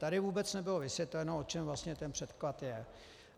Tady vůbec nebylo vysvětleno, o čem vlastně ten předklad je.